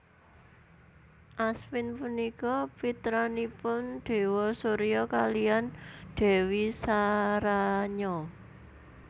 Aswin punika pitranipun Déwa Surya kaliyan Dèwi Saranya